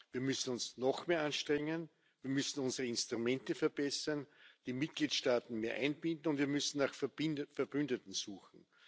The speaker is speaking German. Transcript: Wir müssen uns noch mehr anstrengen, wir müssen unsere Instrumente verbessern, die Mitgliedstaaten mehr einbinden, und wir müssen nach Verbündeten suchen.